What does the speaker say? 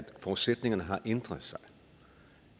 forudsætningerne har ændret sig